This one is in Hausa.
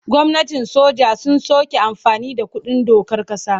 Gwamnatin soja sun soke amfani da kundin dokar ƙasa.